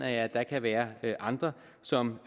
at der kan være andre som